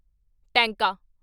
ਟੈਂਕਾ